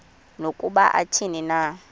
nokuba athini na